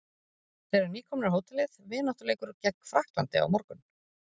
Þeir eru nýkomnir á hótelið, vináttuleikur gegn Frakklandi á morgun.